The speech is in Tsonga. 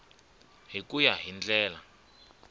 hi ku ya hi ndlela